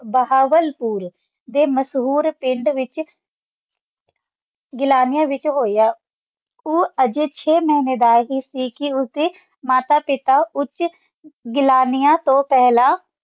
ਬਹਾਵਲਪੁਰ ਦਾ ਮੁਸ਼ਹੂਰ ਪਿੰਡ ਵਿਚ ਗੀਲਾਣੀਆਂ ਵਿਚ ਹੋਇਆ ਊ ਅਜਿਕਸ਼ਯ ਮਿਨਿਦਾ ਹੀ ਦੀ ਕਈ ਹੋ ਕ ਮਾਤਾ ਪਤਾ ਉੱਚ ਜਲਾਣੀਆਂ ਤੋਂ ਪਹਿਲਾਂ